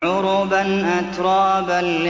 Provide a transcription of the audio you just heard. عُرُبًا أَتْرَابًا